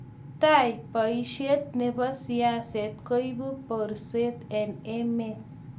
tai, boishet nebo siaset koibu borset eng emet